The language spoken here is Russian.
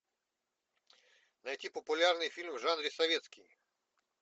найти популярный фильм в жанре советский